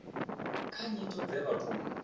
kha nyito dze vha tou